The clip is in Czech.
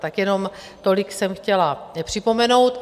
Tak jenom tolik jsem chtěla připomenout.